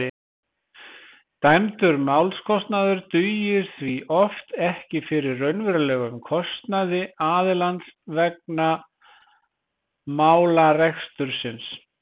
dæmdur málskostnaður dugir því oft ekki fyrir raunverulegum kostnaði aðilans vegna málarekstursins